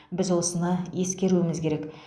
біз осыны ескеруіміз керек